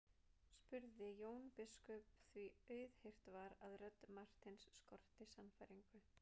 spurði Jón biskup því auðheyrt var að rödd Marteins skorti sannfæringu.